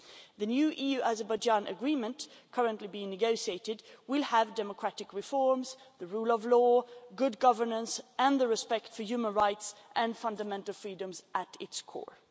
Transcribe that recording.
The new EU-Azerbaijan agreement currently being negotiated will have democratic reforms, the rule of law, good governance and respect for human rights and fundamental freedoms at its core.